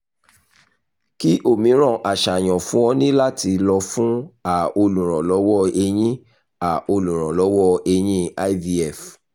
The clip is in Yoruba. kí miiran aṣayan fun o ni lati lọ fun a oluranlowo eyin a oluranlowo eyin ivf